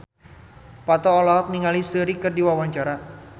Parto olohok ningali Seungri keur diwawancara